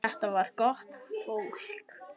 Þetta var gott fólk.